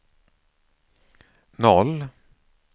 noll